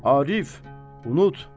Arif, unut!